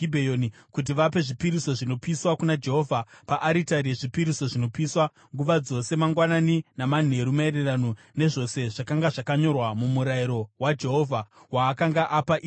kuti vape zvipiriso zvinopiswa, kuna Jehovha paaritari yezvipiriso zvinopiswa, nguva dzose, mangwanani namanheru maererano nezvose zvakanga zvakanyorwa muMurayiro waJehovha waakanga apa Israeri.